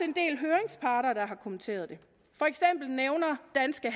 en del høringsparter der har kommenteret det for eksempel nævner danske